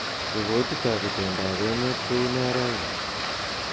Ripotitab itondoab enet kounee raini